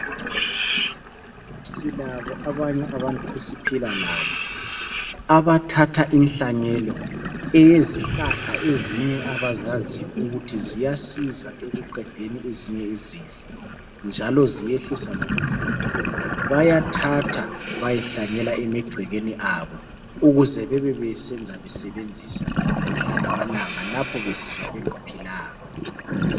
Silabo abanye abantu esiphila labo abathatha inhlanyelo eyezihlahla ezinye abazaziyo ukuthi ziyasiza ekuqedeni ezinye izifo njalo ziyehlisa lobuhlungu. Bayathatha bayehlanyela emagcekeni abo ukuze bebe besenza besebenzisa mihla namalanga lapho besizwa bengaphilanga.